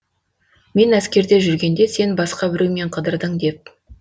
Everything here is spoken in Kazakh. мен әскерде жүргенде сен басқа біреумен қыдырдың деп